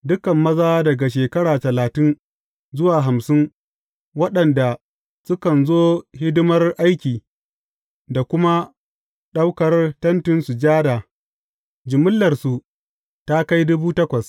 Dukan maza daga shekara talatin zuwa hamsin waɗanda sukan zo hidimar aiki da kuma ɗaukar Tentin Sujada jimillarsu ta kai